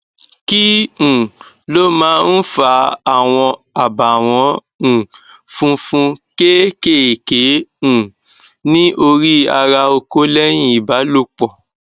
kí um ló máa ń fa àwọn abawon um funfun keekéeké um ní orí ara oko leyin ibalòpọ